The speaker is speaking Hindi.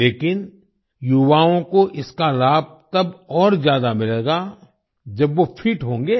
लेकिन युवाओं को इसका लाभ तब और ज्यादा मिलेगा जब वो फिट होंगे